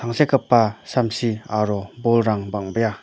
tangsekgipa samsi aro bolrang bang·bea.